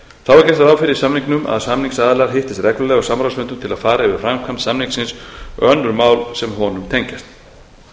ráð fyrir í samningnum að samningsaðilar hittist reglulega á samráðsfundum til að fara yfir framkvæmd samningsins og önnur mál sem honum tengjast